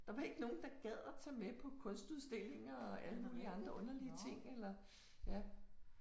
Der var ikke nogen der gad at tage med på kunstudstillinger og alle mulige andre underlige ting eller ja